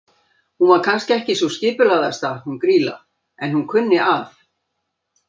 Hún var kannski ekki sú skipulagðasta hún Grýla, en hún kunni að.